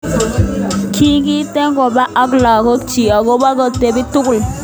Kikieten koba ak lagok chik akot kotepi tugul.